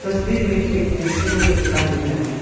तस्वीर में एक इंस्ट्रूमेंट का दुकान दिख रहा है।